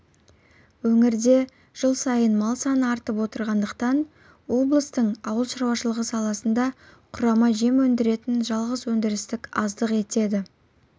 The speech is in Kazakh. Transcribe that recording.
өңірде жыл сайын мал саны артып отырғандықтан облыстың ауыл шаруашылығы саласында құрама жем өндіретін жалғыз өндіріс аздық етеді